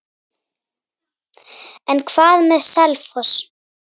En hvað með Selfoss?